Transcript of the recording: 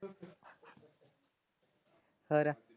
ਹੋਰ?